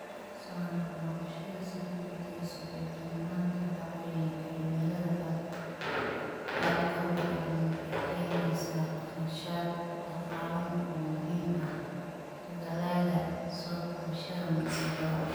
Soo noqnoqoshada sii kordheysa iyo darnaanta dhacdooyinka cimilada aadka u daran waxay keenaysaa kharashaad dhaqaale oo muhiim ah dadaallada soo kabashada musiibada.